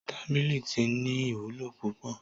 Tábìlì tí ní ìwúlò púpọ̀